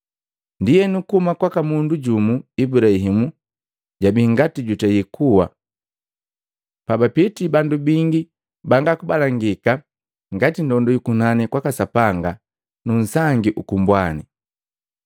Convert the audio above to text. Ndienu kuhuma kwaka mundu jumu, Ibulaimu, jabii ngati jutei kuwa, bapitii bandu bingi banga kubalangika ngati ndondu yu kunani kwaka Sapanga nu nsangi uku mbwani.